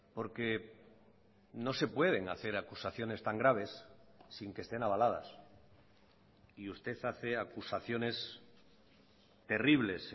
porque no se pueden hacer acusaciones tan graves sin que estén avaladas y usted hace acusaciones terribles